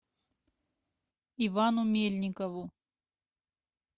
ивану мельникову